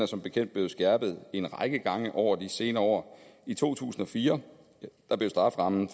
som bekendt blevet skærpet en række gange over de senere år i to tusind og fire blev strafferammen